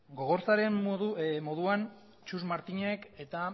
gogorzaren moduan txus martinek eta